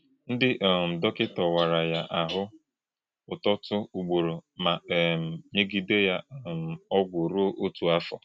Ndị́ um dọ̀kì̄tà̄ wàrà̄ yá àhụ́̄ ụ́tọ́tụ̀ ùgbòrò̄ mà̄ um nyè̄gídè̄ yá um ọ̀gwù̄ rú̄ō ọ̀tụ́ àfọ̄.